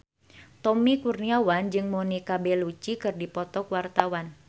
Tommy Kurniawan jeung Monica Belluci keur dipoto ku wartawan